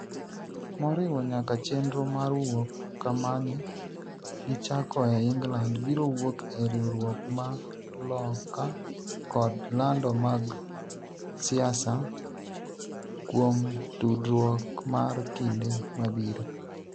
moriwo nyaka chenro mar wuok kamane gichakoe England biro wuok e riwruok mar Loka kod lando mag siasa kuom tudruok mar kinde mabiro